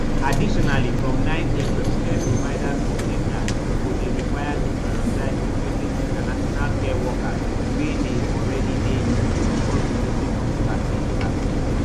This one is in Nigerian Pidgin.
additionally from nine april care providers for england go dey required to prioritise recruiting international care workers wey already dey uk before recruiting from overseas overseas